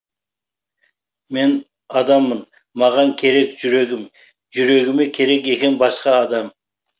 мен адаммын маған керек жүрегім жүрегіме керек екен басқа адам